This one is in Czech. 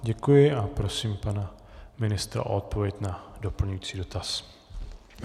Děkuji a prosím pana ministra o odpověď na doplňující dotaz.